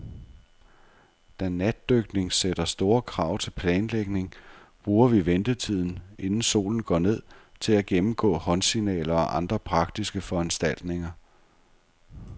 Da natdykning sætter store krav til planlægning, bruger vi ventetiden, inden solen går ned, til at gennemgå håndsignaler og andre praktiske foranstaltninger.